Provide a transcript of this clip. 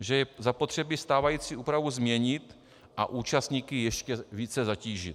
že je zapotřebí stávající úpravu změnit a účastníky ještě více zatížit.